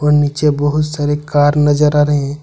नीचे बहुत सारे कर नजर आ रहे हैं।